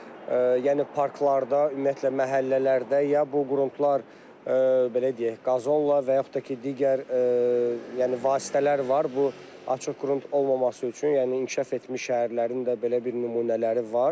Yəni parklarda, ümumiyyətlə məhəllələrdə ya bu qrundlar belə deyək, qazonla və yaxud da ki, digər, yəni vasitələr var bu açıq qrund olmaması üçün, yəni inkişaf etmiş şəhərlərin də belə bir nümunələri var.